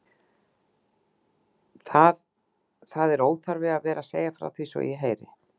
Þáð er nú óþarfi að vera að segja frá því svo ég heyri.